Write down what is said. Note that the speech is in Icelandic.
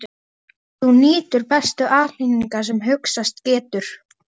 Þú nýtur bestu aðhlynningar sem hugsast getur.